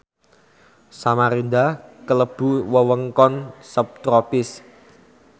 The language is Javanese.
Samarinda klebu wewengkon subtropis